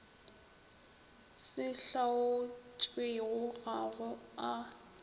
se hlaotšwego ga go a